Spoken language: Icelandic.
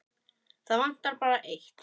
Það vantar bara eitt.